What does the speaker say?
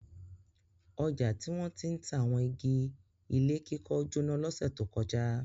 Ọjà tí wọ́n ti ń ta àwọn igi ilé kíkọ́ jóná lọ́sẹ̀ tó kọjá.